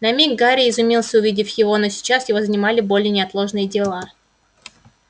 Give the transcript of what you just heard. на миг гарри изумился увидев его но сейчас его занимали более неотложные дела